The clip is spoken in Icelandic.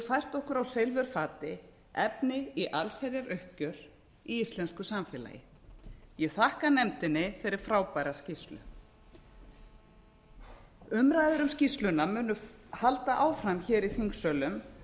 fært okkur á silfurfati efni í allsherjaruppgjör í íslensku samfélagi ég þakka nefndinni fyrir frábæra skýrslu umræður um skýrsluna munu halda áfram hér í þingsölum